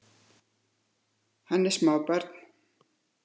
Hann er smábarn.